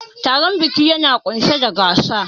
Taron biki yana ƙunshe da gasa.